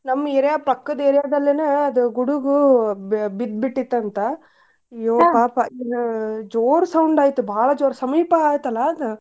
ನಮ್ಮ್ area ಪಕ್ಕದ area ದಲ್ಲುನು ಗುಡುಗು ಬಿದ್ದ್ಬಿಟ್ಟಿತ್ತಂತ ಅಯ್ಯೋ ಪಾಪ ಜೋರ್ sound ಆಯಿತ್ ಬಾಳ ಜೋರ್ ಸಮೀಪ ಆಯಿತಲಾ.